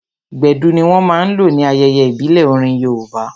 Gbedu ní wọ́n máa n lò ní ayẹyẹ ìbílẹ̀ orin yoòbá